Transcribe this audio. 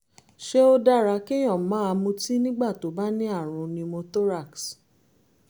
ṣé ó dára kéèyàn máa mutí nígbà tó bá ní àrùn pneumothorax?